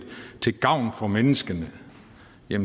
til gavn for menneskene